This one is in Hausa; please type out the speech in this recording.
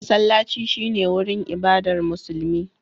Masallaci shi ne wurin ibadar Musulmi.